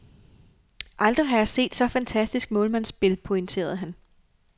Aldrig har jeg set så fantastisk målmandsspil, pointerede han.